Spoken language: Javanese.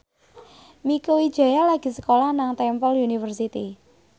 Mieke Wijaya lagi sekolah nang Temple University